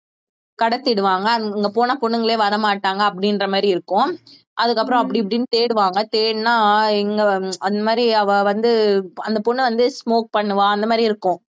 கடத்திடுவாங்க அங்க போனா பொண்ணுங்களே வரமாட்டாங்க அப்படின்ற மாதிரி இருக்கும் அதுக்கப்புறம் அப்படி இப்படின்னு தேடுவாங்க தேடுனா எங்க அந்த மாதிரி அவ வந்து அந்த பொண்ணு வந்து smoke பண்ணுவா அந்த மாதிரி இருக்கும்